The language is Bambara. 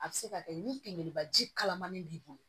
A bɛ se ka kɛ ni kungunibaji kalamani b'i bolo